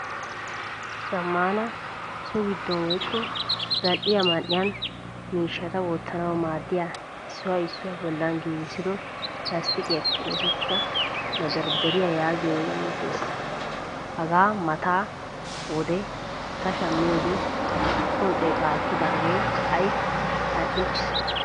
Zamaana so giddon woykko zal'iyaa man'iyan miishshata wottanawu maadiya issuwaa issuwaa bollan gigissido lasttiqiyappe oosettida mederdariyaa yaagiyoge de'ees. Hagaa mata wode ta shamiyode usuppun xeeta ekkage ha'i al'iichchiis.